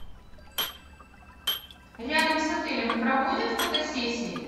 рядом с отелем проводят фотосессии